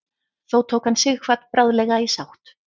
þó tók hann sighvat bráðlega í sátt